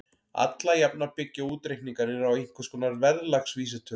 Alla jafna byggja útreikningarnir á einhvers konar verðlagsvísitölu.